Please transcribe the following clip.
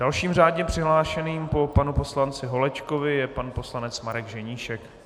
Dalším řádně přihlášeným po panu poslanci Holečkovi je pan poslanec Marek Ženíšek.